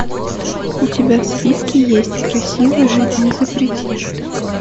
у тебя в списке есть красиво жить не запретишь